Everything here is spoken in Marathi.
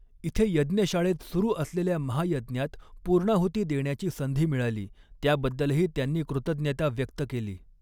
इथे यज्ञशाळेत सुरू असलेल्या महायज्ञात पूर्णाहुती देण्याची संधी मिळाली त्याबद्दलही त्यांनी कृतज्ञता व्यक्त केली.